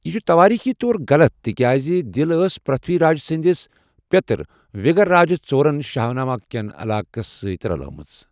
یہِ چھُ توٲريخي طور غلط، تِکیٛازِ دِل ٲس پرتھوی راج سٕندِس پیٚترٕ وِگرراجہ ژورن چاہمانا کٮ۪ن علاقس سۭتۍ رلٲومٕژ۔